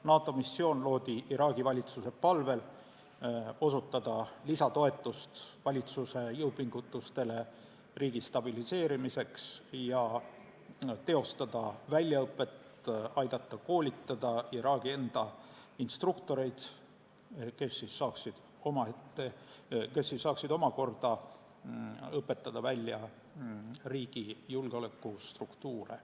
NATO missioon loodi Iraagi valitsuse palvel osutada lisatoetust valitsuse jõupingutustele riigi stabiliseerimiseks ja teostada väljaõpet, aidata koolitada Iraagi enda instruktoreid, kes siis saaksid omakorda õpetada välja riigi julgeolekustruktuure.